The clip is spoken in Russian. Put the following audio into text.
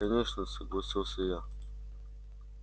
конечно согласился я